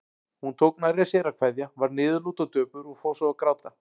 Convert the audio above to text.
Hún tók nærri sér að kveðja, varð niðurlút og döpur og fór svo að gráta.